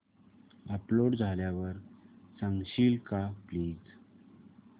upload झाल्यावर सांगशील का प्लीज